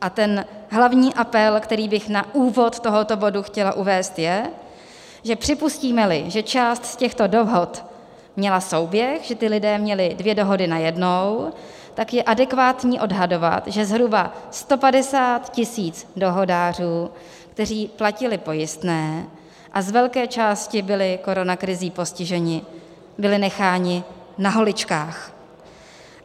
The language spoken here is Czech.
A ten hlavní apel, který bych na úvod tohoto bodu chtěla uvést, je, že připustíme-li, že část z těchto dohod měla souběh, že ti lidé měli dvě dohody najednou, tak je adekvátní odhadovat, že zhruba 150 tisíc dohodářů, kteří platili pojistné a z velké části byli koronakrizí postiženi, bylo necháno na holičkách.